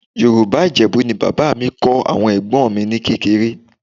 Yorùbá Ìjẹ̀bú ni bàbá mi kọ́ àwọn ẹ̀gbọ́n mi ní kékeré